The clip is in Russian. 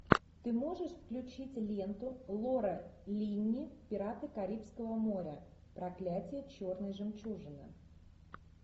ты можешь включить ленту лора линни пираты карибского моря проклятие черной жемчужины